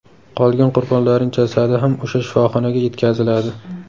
Qolgan qurbonlarning jasadi ham o‘sha shifoxonaga yetkaziladi.